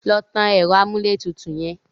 Lọ tan ẹ̀rọ amúlétutù yẹn!